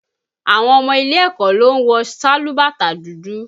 Àwọn ọmọ ilẹ̀ ẹ̀kọ́ ló ń wọ sálúbàtà dúdú